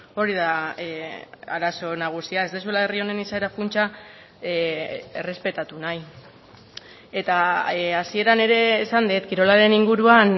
hori da arazo nagusia ez duzuela herri honen izaera funtsa errespetatu nahi eta hasieran ere esan dut kirolaren inguruan